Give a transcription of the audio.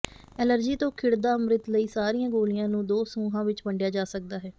allergy ਤੋਂ ਖਿੜਦਾ ਅੰਮ੍ਰਿਤ ਲਈ ਸਾਰੀਆਂ ਗੋਲੀਆਂ ਨੂੰ ਦੋ ਸਮੂਹਾਂ ਵਿਚ ਵੰਡਿਆ ਜਾ ਸਕਦਾ ਹੈ